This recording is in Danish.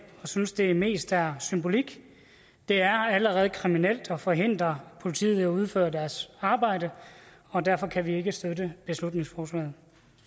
og synes at det mest er symbolik det er allerede kriminelt at forhindre politiet i at udføre deres arbejde og derfor kan vi ikke støtte beslutningsforslaget